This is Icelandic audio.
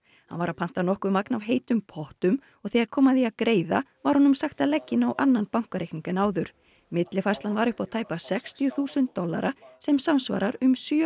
hann var að panta nokkuð magn af heitum pottum og þegar kom að því að greiða var honum sagt að leggja inn á annan bankareikning en áður millifærslan var upp á tæpa sextíu þúsund dollara sem samsvarar um sjö